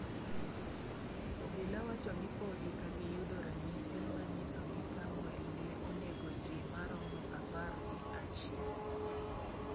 Obila wacho ni podi kagiyudo ranyisi ma nyiso ni Samwel ne onego ji maromo apar gi achiel.